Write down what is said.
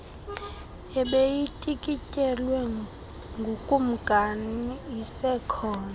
ebeyityikityelwe ngukumkani isekhona